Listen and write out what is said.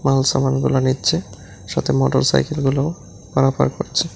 Whole সামানগুলো নিচ্ছে সাথে মোটরসাইকেলগুলোও পারাপার করছে।